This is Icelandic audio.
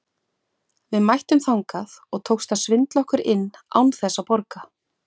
Við mættum þangað og tókst að svindla okkur inn án þess að borga.